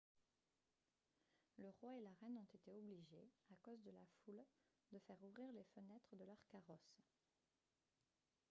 le roi et la reine ont été obligés à cause de la foule de faire ouvrir les fenêtres de leurs carrosses